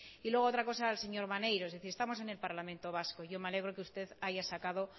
y luego otra cosa al señor maneiro estamos en el parlamento vasco yo me alegro que usted haya sacado